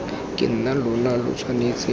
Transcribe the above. ke nna lona lo tshwanetse